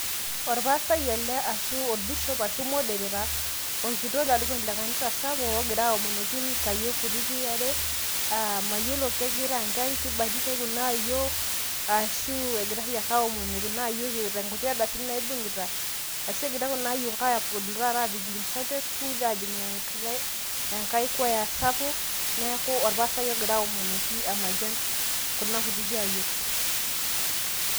Orpastai ele ashu orbishop ashu modereta orkitok lekanisa sapuk ogira aomonoki nkayiok kutitik are aa mayiolo kengira nkaik mayiolo kibatisai kuna ayiok ashu egirai ake aomonie kuna ayiok eeta nkuti ardasini naibungita ashu engira kunaayiok apud tata aapik te sunday school arashu ajing enkai kwaya sapuk neaku orpastai ogira aomonoki amayian kuna kutitik ayiok.